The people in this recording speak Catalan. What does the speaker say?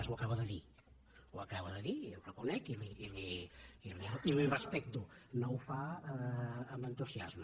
ho acaba de dir ho acaba de dir ho reconec i li ho respecto no ho fa amb entusiasme